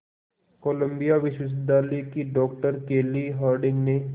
Colombia विश्वविद्यालय की doctor Kelly Harding ने